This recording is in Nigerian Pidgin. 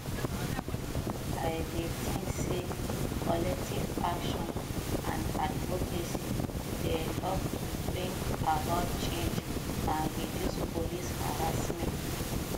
i dey think say collective action and advocacy dey help to bring about change and reduce police harassment